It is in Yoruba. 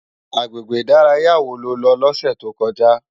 Agbégbé idàráyá wó ló lò lòsè tókòjá?